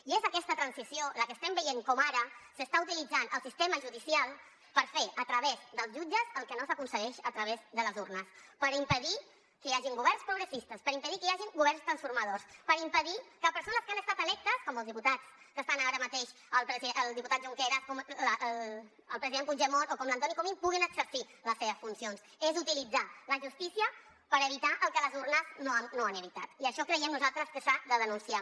i és aquesta transició la que estem veient com ara s’està utilitzant el sistema judicial per fer a través dels jutges el que no s’aconsegueix a través de les urnes per impedir que hi hagin governs progressistes per impedir que hi hagi governs transformadors per impedir que persones que han estat electes com els diputats que estan ara mateix el diputat junqueras com el president puigdemont o com l’antoni comín puguin exercir les seves funcions és utilitzar la justícia per evitar que les urnes no han evitat i això creiem nosaltres que s’ha de denunciar